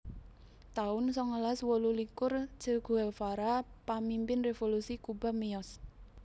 taun songolas wolulikur Che Guevara pamimpin revolusi Kuba miyos